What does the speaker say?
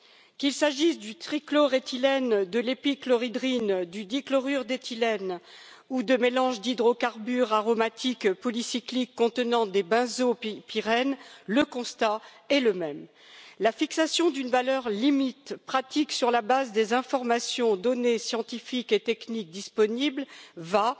Qu'il s'agisse du trichloréthylène, de l'épichlorohydrine, du dichlorure d'éthylène ou de mélange d'hydrocarbures aromatiques polycycliques contenant des benzopyrènes, le constat est le même la fixation d'une valeur limite pratique sur la base des informations, données scientifiques et techniques disponibles va,